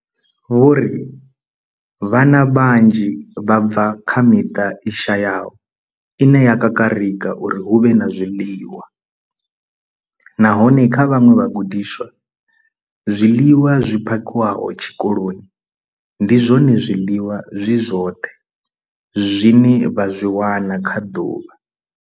Vho ri vhana vhanzhi vha bva kha miṱa i shayaho ine ya kakarika uri hu vhe na zwiḽiwa, nahone kha vhaṅwe vhagudiswa, zwiḽiwa zwi phakhiwaho tshikoloni ndi zwone zwiḽiwa zwi zwoṱhe zwine vha zwi wana kha ḓuvha.